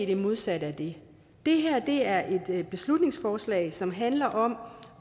det modsatte af det det her er et beslutningsforslag som handler om